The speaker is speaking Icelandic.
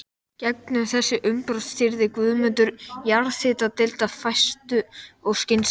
Gegnum þessi umbrot stýrði Guðmundur jarðhitadeild af festu og skynsemi.